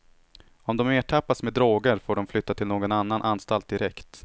Om de ertappas med droger får de flytta till någon annan anstalt direkt.